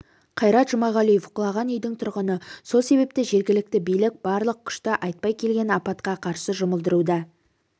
қайрат жұмағалиев құлаған үйдің тұрғыны сол себепті жергілікті билік барлық күшті айтпай келген апатқа қарсы жұмылдыруда